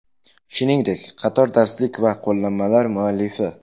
Shuningdek, qator darslik va qo‘llanmalar muallifi.